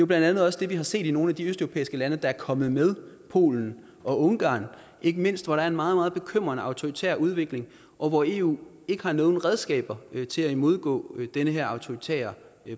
blandt andet også det vi har set i nogle af de østeuropæiske lande der er kommet med polen og ungarn ikke mindst hvor der er en meget meget bekymrende autoritær udvikling og hvor eu ikke har nogen redskaber til at imødegå den her autoritære